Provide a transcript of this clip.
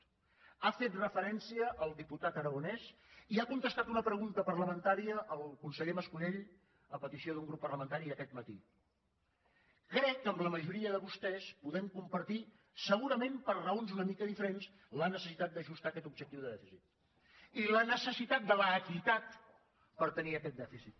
hi ha fet referència el diputat aragonès i ha contestat una pregunta parlamentària el conseller mas colell a petició d’un grup parlamentari aquest matí crec que amb la majoria de vostès podem compartir segurament per raons una mica diferents la necessitat d’ajustar aquest objectiu de dèficit i la necessitat de l’equitat per tenir aquest dèficit